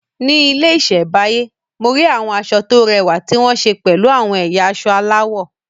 Ní ilé ìṣẹ̀báyé, mo rí àwọn aṣọ tó rẹwà tí wọ́n ṣe pẹ̀lú àwọn ẹ̀yà aṣọ aláwọ̀.